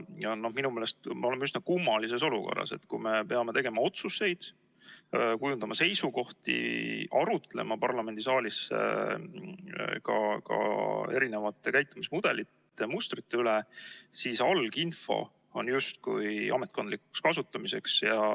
Minu meelest me oleme üsna kummalises olukorras, kus me peame tegema otsuseid, kujundama seisukohti, arutlema parlamendisaalis ka erinevate käitumismudelite ja -mustrite üle, aga alginfo on justkui ametkondlikuks kasutamiseks.